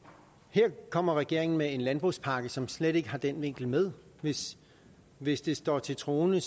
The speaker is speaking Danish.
her kommer regeringen med en landbrugspakke som slet ikke har den vinkel med hvis hvis det står til troende